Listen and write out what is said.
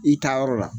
I taa yɔrɔ la